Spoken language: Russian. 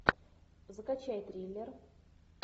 закачай триллер